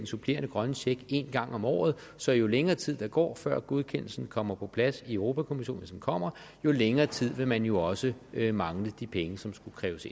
supplerende grønne check en gang om året så jo længere tid der går før godkendelsen kommer på plads i europa kommissionen hvis den kommer jo længere tid vil man jo også mangle de penge som skulle kræves